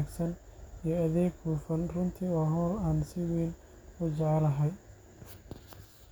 haddana faa’iidadeedu waa mid muuqata.